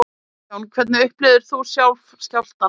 Kristján: Hvernig upplifðir þú sjálf skjálftann?